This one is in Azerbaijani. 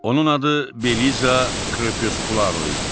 Onun adı Beliza Krepuskularo idi.